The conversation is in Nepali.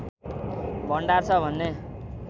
भण्डार छ भन्ने